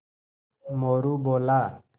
मोरू बोला